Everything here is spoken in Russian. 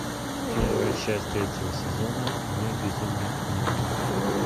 первая часть третьего сезона мой безумный дневник